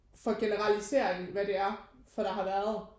For generalisering hvad det er for der har været